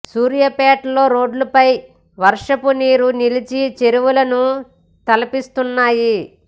సూర్యాపేట లో రోడ్ల పై వర్షపు నీరు నిలిచి చెరువులను తలపిస్తున్నాయి